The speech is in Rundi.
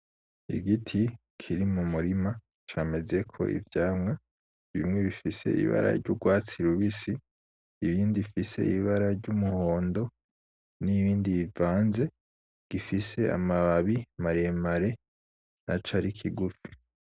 Igiti kiri mu murima camezeko ivyamwa. Bimwe bifise ibara ry'urwatsi rubisi, ibindi bifise ibara ry'umuhondo, n'ibindi bivanze. Gifise amababi maremare naco ari kigufi.